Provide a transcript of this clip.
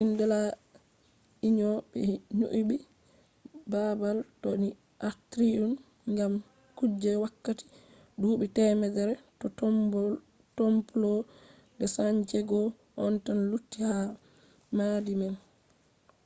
jardin de la union. be nyibi babal do ni atrium gam kuje wakkati duubi temere bo templo de san diego on tan lutti ha maadi man